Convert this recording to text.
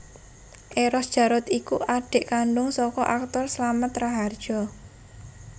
Eros Djarot iku adik kandung saka aktor Slamet Rahardjo